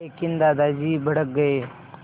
लेकिन दादाजी भड़क गए